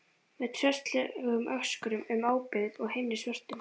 Með tröllslegum öskrum um óbyggð og að himni svörtum.